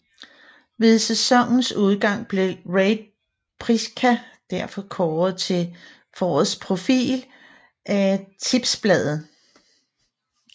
Ved sæsonens udgang blev Rade Prica derfor kåret til forårets profil af Tipsbladet